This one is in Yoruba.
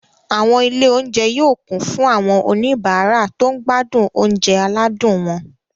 Àwọn ilé-oúnjẹ yóò kún fún àwọn oníbàárà tó ń gbádùn oúnjẹ aládùn wọn.